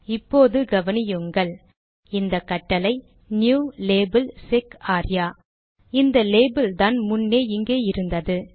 இப்போது கவனியுங்கள் இந்த கட்டளை நியூ லேபல் செக் ஆர்யா இந்த லேபில்தான் முன்னே இங்கே இருந்தது